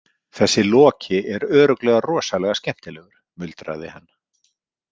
Þessi Loki er örugglega rosalega skemmtilegur, muldraði hann.